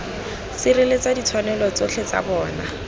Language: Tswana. sireletsa ditshwanelo tsotlhe tsa bona